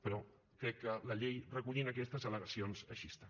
però crec que la llei recollint aquestes al·legacions així està